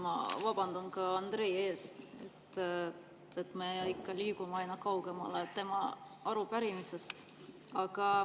Ma vabandan Andrei ees, me liigume aina kaugemale tema arupärimisest.